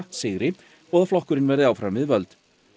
sigri og að flokkurinn verði áfram við völd